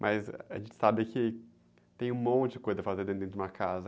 Mas a gente sabe que tem um monte de coisa a fazer dentro de uma casa.